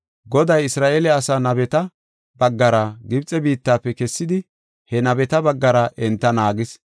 Goday Isra7eele asaa nabeta baggara Gibxe biittafe kessidi he nabeta baggara enta naagis.